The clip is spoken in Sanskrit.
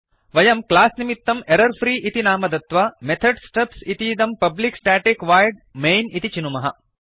वयं क्लास् निमित्तं एरर् फ्री इति नाम दत्त्वा मेथड्स् स्टब्स् इतीदं पब्लिक स्टेटिक वोइड् मैन् इति चिनुमः